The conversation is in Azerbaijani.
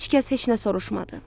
Heç kəs heç nə soruşmadı.